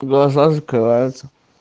глаза закрываются